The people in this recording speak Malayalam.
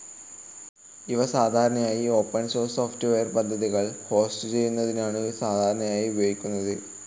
ഇവ സാധാരണയായി ഓപ്പൻ സോഴ്സ് സോഫ്റ്റ്വെയർ പദ്ധതികൾ ഹോസ്റ്റുചെയ്യുന്നതിനാണ് സാധാരണയായി ഉപയോഗിക്കുന്നത്.